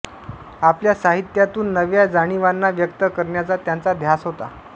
आपल्या साहित्यातून नव्या जाणीवांना व्यक्त करण्याचा त्यांचा ध्यास होता